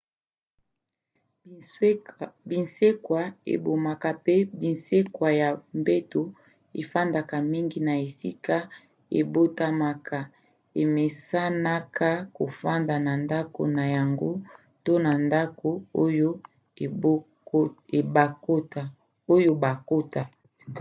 binsekwa ebomaka mpe binsekwa ya mbeto efandaka mingi na esika ebotamaka emesanaka kofanda na ndako na yango to na ndako oyo bakota